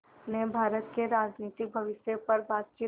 ने भारत के राजनीतिक भविष्य पर बातचीत